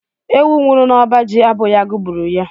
Ewu nwụrụ n'ọba ji abụghi agụ gburu ya.